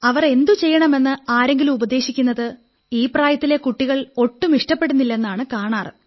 അവർ എന്തു ചെയ്യണമെന്ന് ആരെങ്കിലും ഉപദേശിക്കുന്നത് ഈ പ്രായത്തിലെ കുട്ടികൾ ഒട്ടും ഇഷ്ടപ്പെടുന്നില്ലെന്നാണ് കാണാറ്